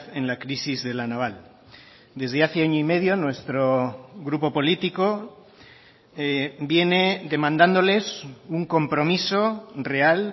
en la crisis de la naval desde hace año y medio nuestro grupo político viene demandándoles un compromiso real